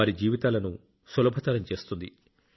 వారి జీవితాలను సులభతరం చేస్తుంది